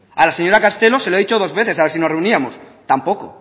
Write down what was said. a la señora castelo se lo he dicho dos veces a ver si nos reuníamos tampoco